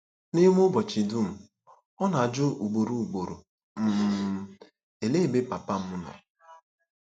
N'ime ụbọchị dum, ọ na-ajụ ugboro ugboro um, "Olee ebe papa m nọ?"